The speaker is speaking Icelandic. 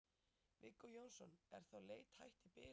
Viggó Jónsson: Er þá leit hætt í bili eða hvað?